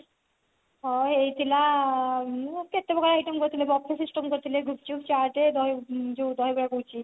ହଁ ହେଇଥିଲା ମୁଁ ଏତେ କେତେ ପ୍ରକାରେ item କରିଥିଲେ buffet system କରିଥିଲେ ଗୁପ୍ଚୁପ ଚାଟ ଦହି ଯୋଉ ଦହିବରା କହୁଛି